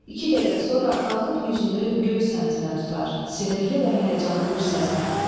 İki dəqiqə sonra qalxıb yüzünü göy səmtinə tutar, sinirli və həyəcanlı bir səslə.